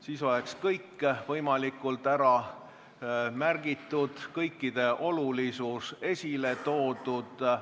Siis oleks kõik võimalikult ära märgitud, kõikide olulisus esile toodud.